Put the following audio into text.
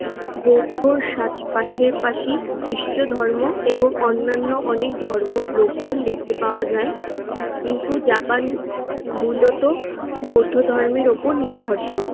বৌদ্ধর সাথ~ পাশাপাশি খ্রিষ্টধর্ম এবং অন্যান্য অনেক ধর্মর লোকজন দেখতে পাওয়া যায়। কিন্তু জাপানি মূলত বৌদ্ধ ধর্মের ওপর নির্ভরশীল।